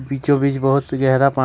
बीचों बीच बहुत से गहरा पा--